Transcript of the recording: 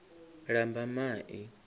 lambamai